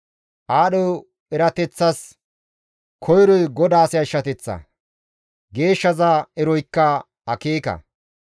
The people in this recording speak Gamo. Aadho erateththas koyroy GODAAS yashshateththa; Geeshshaza eroykka akeeka.